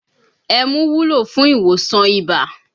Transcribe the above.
Ẹmu wúlò fún ìwòsàn ibà